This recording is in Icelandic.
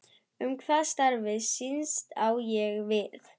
Um hvað starfið snýst, á ég við